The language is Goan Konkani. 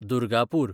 दुर्गापूर